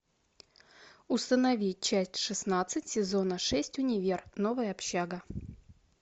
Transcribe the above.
установи часть шестнадцать сезона шесть универ новая общага